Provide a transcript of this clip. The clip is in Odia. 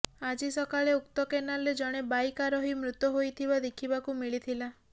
ଆଜି ସକାଳେ ଉକ୍ତ କେନାଲରେ ଜଣେ ବାଇକ ଆରୋହି ମୃତ ହୋଇଥିବା ଦେଖିବାକୁ ମିଳିଥିଲା